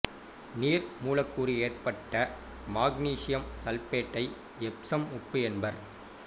நீர் மூலக்கூறு ஏற்றப்பட்ட மக்னீசியம் சல்பேட்டை எப்சம் உப்பு என்பர்